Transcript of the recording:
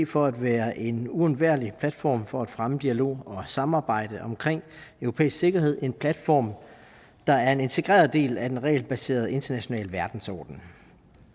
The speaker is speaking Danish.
for at være en uundværlig platform for at fremme dialog og samarbejde omkring europæisk sikkerhed en platform der er en integreret del af en regelbaseret international verdensorden